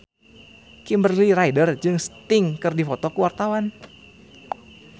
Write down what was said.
Kimberly Ryder jeung Sting keur dipoto ku wartawan